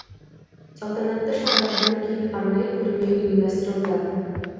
салтанатты шаралардан кейін арнайы көрме ұйымдастырылды